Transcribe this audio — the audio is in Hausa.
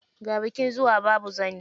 Ga bikin zuwa, babu zani.